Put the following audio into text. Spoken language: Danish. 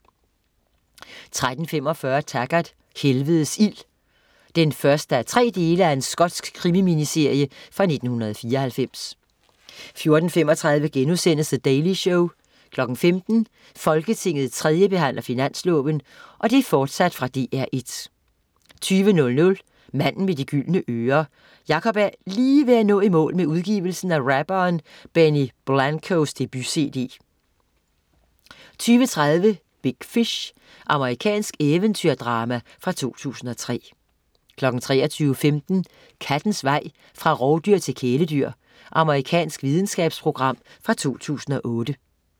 13.45 Taggart: Helvedes ild 1:3 Skotsk krimi-miniserie fra 1994 14.35 The Daily Show* 15.00 Folketinget 3. behandler finansloven. Fortsat fra DR1 20.00 Manden med de gyldne ører. Jakob er lige ved at nå i mål med udgivelsen af rapperen Benny Blancos debut-cd 20.30 Big Fish. Amerikansk eventyrdrama fra 2003 23.15 Kattens vej fra rovdyr til kæledyr. Amerikansk videnskabsprogram fra 2008